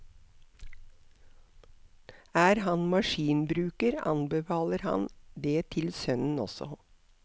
Er han maskinbruker, anbefaler han det til sønnen også.